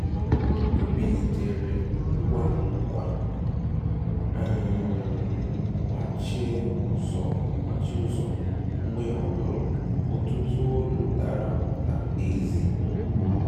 Ọ́ bìlìtèrè ngwá ngwá gbàchìe ụ́zọ̀, mgbe ọ́ nụ́rụ̀ ọtụ́tụ́ òlù dàrà ụ́dà n'èzì.